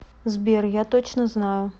сбер я точно знаю